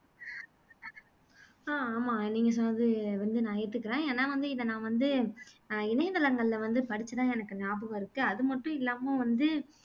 அஹ் ஆமா நீங்க சொன்னது கொஞ்சம் நான் ஏத்துக்குறேன் ஏனா வந்து நான் இத வந்து அஹ் இணையதளங்கள்ல வந்து படிச்சதா எனக்கு நியாபகம் இருக்கு அதுமட்டும் இல்லாம் வந்து